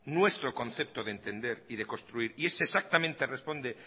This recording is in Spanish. nuestro concepto de entender y de construir y ese exactamente responde